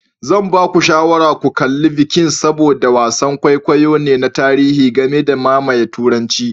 Zan ba ku shawarar ku kalli Vikings saboda wasan kwaikwayo ne na tarihi game da mamayewar Turanci.